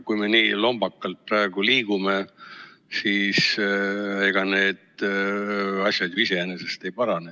Kui me nii lombakalt praegu liigume, siis ega need asjad ju iseenesest vist ei parane.